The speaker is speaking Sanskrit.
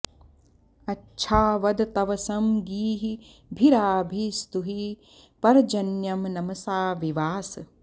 अच्छा वद तवसं गीर्भिराभि स्तुहि पर्जन्यं नमसा विवास